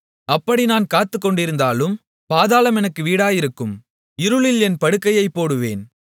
அப்படி நான் காத்துக்கொண்டிருந்தாலும் பாதாளம் எனக்கு வீடாயிருக்கும் இருளில் என் படுக்கையைப் போடுவேன்